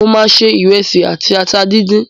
Mo máa se ìrẹsì àti ata díndín